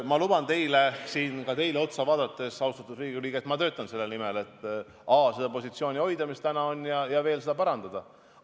Ma luban teile, ka siin teile otsa vaadates, austatud Riigikogu liige, et ma töötan selle nimel, et seda positsiooni, mis praegu on, hoida ja veel parandada.